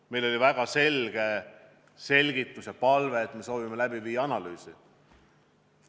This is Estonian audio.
Meil oli väga selge selgitus ja palve, et me soovime teha analüüsi.